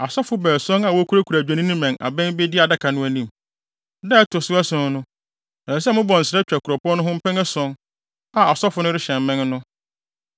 Asɔfo baason a wokurakura adwennini mmɛn abɛn bedi Adaka no anim. Da a ɛto so ason no, ɛsɛ sɛ mobɔ nsra twa kuropɔn no ho mpɛn ason, a asɔfo no rehyɛn mmɛn no.